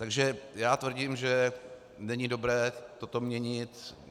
Takže já tvrdím, že není dobré toto měnit.